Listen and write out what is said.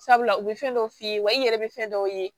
Sabula u bɛ fɛn dɔw f'i ye wa i yɛrɛ bɛ fɛn dɔw ye